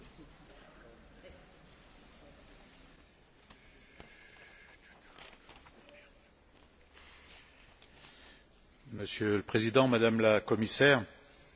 Monsieur le Président, Madame la Commissaire, après la maladie de la vache folle, la tuberculose bovine, la fièvre aphteuse, la fièvre catarrhale, voici un nouveau virus